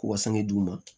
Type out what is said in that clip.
K'u ka sangu d'u ma